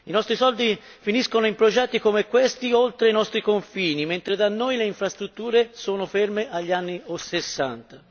I nostri soldi finiscono in progetti come questi, oltre i nostri confini, mentre da noi le infrastrutture sono ferme agli anni '60.